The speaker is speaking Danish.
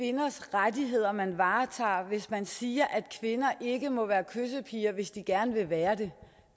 rettigheder man varetager hvis man siger at kvinder ikke må være kyssepiger hvis de gerne vil være det